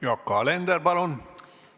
Yoko Alender, palun!